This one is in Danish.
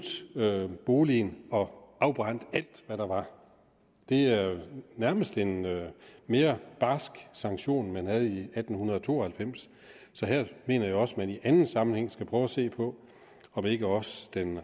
boligen og afbrændt alt hvad der var det er nærmest en mere barsk sanktion end man havde i atten to og halvfems så her mener jeg også at man i anden sammenhæng skal prøve at se på om ikke også den